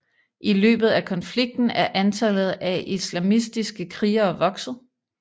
I løbet af konflikten er antallet af islamistiske krigere vokset